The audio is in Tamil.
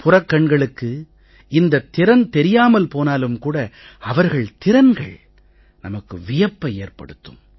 புறக்கண்களுக்கு இந்தத் திறன் தெரியாமல் போனாலும் கூட அவர்கள் திறன்கள் நமக்கு வியப்பை ஏற்படுத்தும்